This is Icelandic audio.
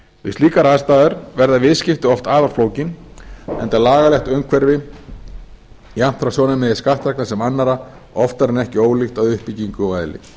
við slíkar aðstæður verða viðskipti oft afar flókin enda er lagalegt umhverfi jafnt frá sjónarmiði skattþegna sem annarra oftar en ekki ólíkt að uppbyggingu og eðli